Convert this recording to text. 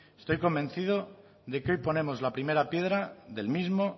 estoy convencido de que hoy ponemos la primera piedra del mismo